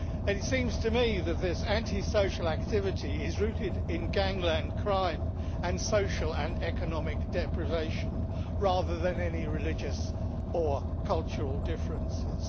It seems to me that this antisocial activity is rooted in gangland crime, and social and economic deprivation, rather than any religious or cultural differences.